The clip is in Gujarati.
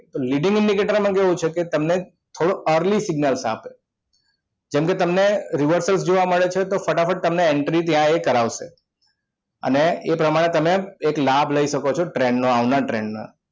leading indicators માં કેવું છે તમને અરજી થોડોક early signals આપે જેમ કે તમને reversal જોવા મળે છે તો ફટાફટ તમને entry ત્યાં કરાવશે અને એ પ્રમાણે તમે એક લાભ લઇ શકો છો trend નો આવનાર trend